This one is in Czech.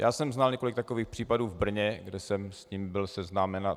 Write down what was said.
Já jsem znal několik takových případů v Brně, kde jsem s tím byl seznámen.